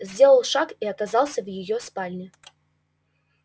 сделал шаг и оказался в её спальне